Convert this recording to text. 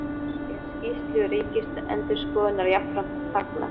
Er skýrslu Ríkisendurskoðunar jafnframt fagnað